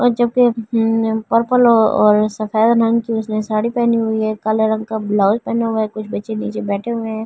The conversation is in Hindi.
और जबकि पर्पल और सफेद रंग की उसने साड़ी पहनी हुई है काले रंग का ब्लाउज पहना हुआ है बैठे हुए हैं।